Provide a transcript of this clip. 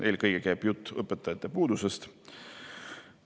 Eelkõige käib jutt õpetajate puudusest.